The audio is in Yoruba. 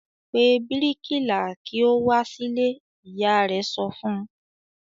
"Pe bíríkìlà kí ó wá sílé!" Ìyá rẹ̀ sọ fún un.